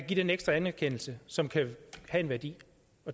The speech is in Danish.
give den ekstra anerkendelse som kan have en værdi